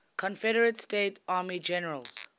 confederate states army generals